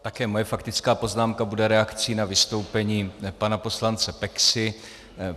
Také moje faktická poznámka bude reakcí na vystoupení pana poslance Peksy.